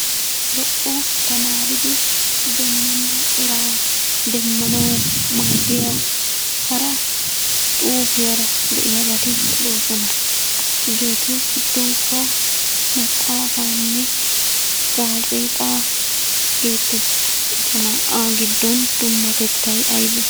Lo"o tamaridi demmena eraa demmanaw maaddiya hara xuufiyaara de'iyaabati doosona. Hegetu giddonkka maxaafaanne gazeexa geetees. Eta naa"a giddon dummatettay aynne?